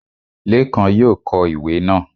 Lékan yóò kọ ìwé náà